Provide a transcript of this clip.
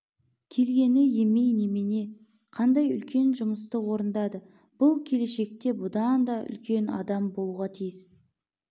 келгені емей немене қандай үлкен жұмысты орындады бұл келешекте будан да үлкен адам болуға тиіс